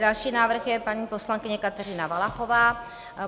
Další návrh je paní poslankyně Kateřina Valachová.